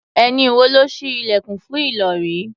Ẹ̀yin wo lẹ́ ṣí ilẹ̀kùn fún Ìlọ̀rí?